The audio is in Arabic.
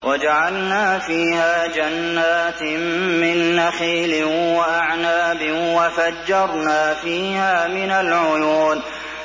وَجَعَلْنَا فِيهَا جَنَّاتٍ مِّن نَّخِيلٍ وَأَعْنَابٍ وَفَجَّرْنَا فِيهَا مِنَ الْعُيُونِ